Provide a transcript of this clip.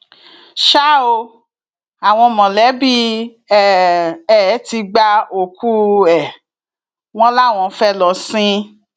ṣá ò àwọn mọlẹbí um ẹ ti gba òkú um ẹ wọn láwọn fẹẹ lọ sìn ín